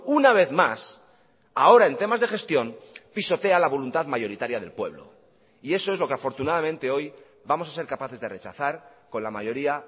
una vez más ahora en temas de gestión pisotea la voluntad mayoritaria del pueblo y eso es lo que afortunadamente hoy vamos a ser capaces de rechazar con la mayoría